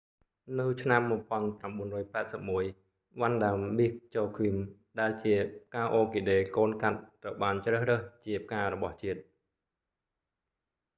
នៅ ឆ្នាំ 1981 វ៉ាន់ដា មីស ចូឃ្វីម vanda miss joaquim ដែលជាផ្កាអ័រគីដេកូនកាត់ត្រូវបានជ្រើសរើសជាផ្ការបស់ជាតិ